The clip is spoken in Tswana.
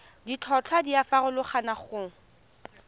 ditlhotlhwa di a farologana go